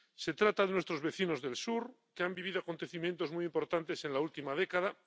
Se trata de nuestros vecinos del sur, que han vivido acontecimientos muy importantes en la última década.